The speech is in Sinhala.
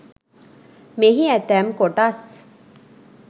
මෙහි ඇතැම් කොටස්